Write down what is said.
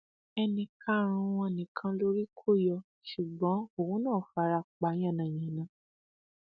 ẹnì karùnún wọn nìkan lórí kò yọ ṣùgbọn òun náà fara pa yánnayànna